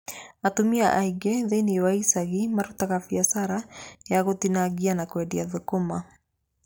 Atumia aingĩ thĩiniĩ wa icagi mararuta biacara ya gũtinangia na kũendia thũkũma.